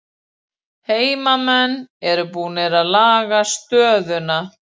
Heimamenn eru búnir að laga stöðuna